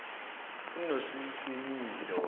unosimilo